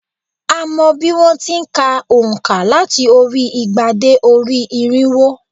A mọ̀ bí wón ti n ka ònká láti orí i igba dé orí i irínwó